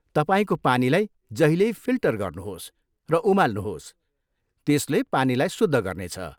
तपाईँको पानीलाई जहिल्यै फिल्टर गर्नुहोस् र उमाल्नुहोस्, त्यसले पानीलाई शुद्ध गर्नेछ।